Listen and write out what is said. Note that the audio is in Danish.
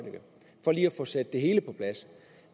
få sat det hele på plads